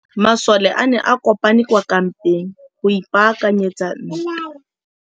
Masole a ne a kopane kwa kampeng go ipaakanyetsa ntwa.